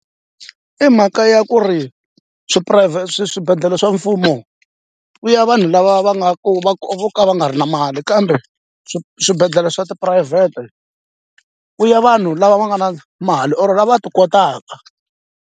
I mhaka ya ku ri swibedhlele swa mfumo ku ya vanhu lava va nga ku vo ka va nga ri na mali kambe swii swibedhlele swa tiphurayivhete ku ya vanhu lava va nga na mali or lava va ti kotaka.